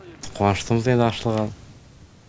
қуаныштымыз енді ашылған